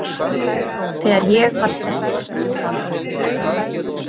Þegar ég var stelpa.